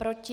Proti?